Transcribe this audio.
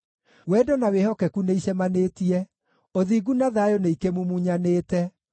Wendo na wĩhokeku nĩicemanĩtie; ũthingu na thayũ nĩikĩmumunyanĩte.